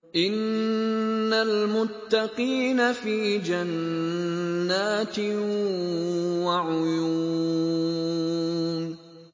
إِنَّ الْمُتَّقِينَ فِي جَنَّاتٍ وَعُيُونٍ